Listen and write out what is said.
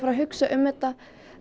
hugsa um þetta